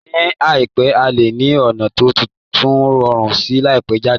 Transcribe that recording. Ní àìpẹ́, a lè ní ọ̀nà tó tún rọrùn síi láti tẹ̀ jáde